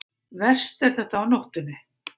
Verst er þetta á nóttunni.